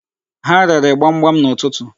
Ha rere gbamgbam n'ụtụtụ.